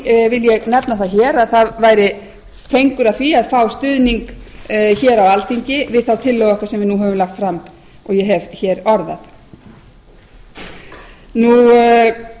því vil ég nefna það hér að það væri fengur að því að fá stuðning á alþingi við þá tillögu okkar sem við höfum lagt fram og